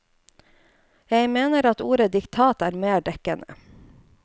Jeg mener at ordet diktat er mer dekkende.